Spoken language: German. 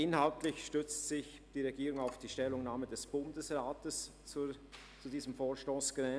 Inhaltlich stützt sich die Regierung auf die Stellungnahme des Bundesrats zu diesem Vorstoss Grin.